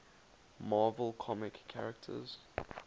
marvel comics characters